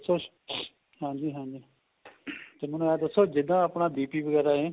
ਦਸੋ ਹਾਂਜੀ ਹਾਂਜੀ ਤੇ ਮੈਨੂੰ ਇਹ ਦੱਸੋ ਜਿਹੜਾ ਆਪਣਾ BP ਵਗੈਰਾ ਏ